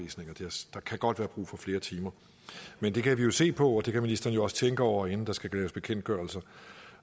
der kan godt være brug for flere timer men det kan vi se på og det kan ministeren jo også tænke over inden der skal laves bekendtgørelser